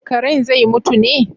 Karen zai mutu ne?